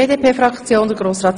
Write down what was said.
Das wäre jetzt fair.